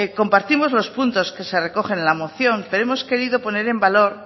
compartimos los puntos que se recogen en la moción pero hemos querido poner en valor